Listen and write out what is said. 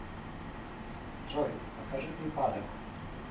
джой покажи припадок